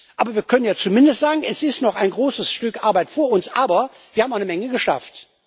Aber wir können ja zumindest sagen Es liegt noch ein großes Stück Arbeit vor uns, aber wir haben auch eine Menge geschafft.